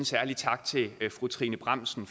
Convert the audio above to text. særlig tak til fru trine bramsen